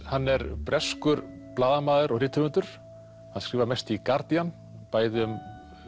hann er breskur blaðamaður og rithöfundur hann skrifar mest í Guardian bæði um